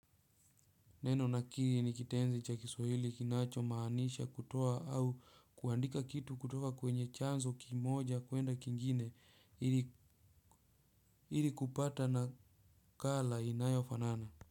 Neno nakiri ni kitenzi cha kiswahili kinacho maanisha kutoa au kuandika kitu kutoa kwenye chanzo kimoja kuenda kingine ili kupata nakala inayofanana.